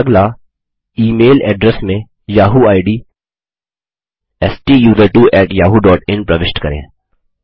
अगला email address में Yahoo ID STUSERTWOYAHOOIN प्रविष्ट करें